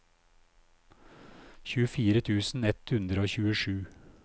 tjuefire tusen ett hundre og tjuesju